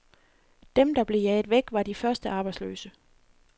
Dem der blev jaget væk, var de første arbejdsløse.